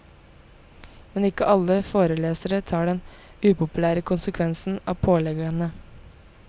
Men ikke alle forelesere tar den upopulære konsekvensen av påleggene.